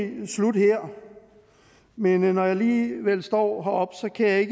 egentlig slutte her men når jeg alligevel står heroppe kan jeg